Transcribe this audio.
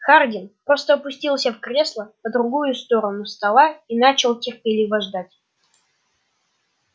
хардин просто опустился в кресло по другую сторону стола и начал терпеливо ждать